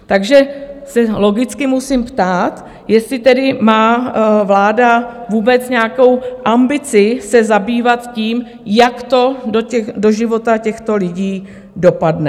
Takže se logicky musím ptát, jestli tedy má vláda vůbec nějakou ambici se zabývat tím, jak to do života těchto lidí dopadne.